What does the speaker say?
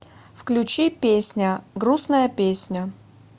включи песня грустная песня